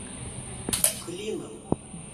клином